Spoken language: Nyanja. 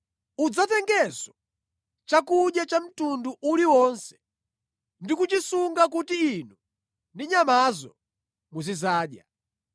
Udzatengenso chakudya cha mtundu uliwonse ndi kuchisunga kuti inu ndi nyamazo muzidzadya.”